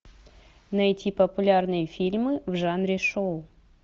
найти популярные фильмы в жанре шоу